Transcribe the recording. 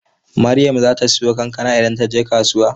Maryam zata siyo kankana idan taje kasuwa?